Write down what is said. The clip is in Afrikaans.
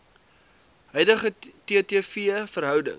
huidige ttv verhouding